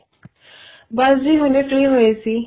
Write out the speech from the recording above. ਬੱਸ ਜੀ ਹੁਣੇ free ਹੋਏ ਸੀ